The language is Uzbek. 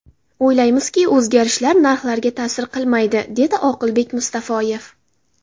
O‘ylaymizki, o‘zgarishlar narxlarga ta’sir qilmaydi”, dedi Oqilbek Mustafoyev.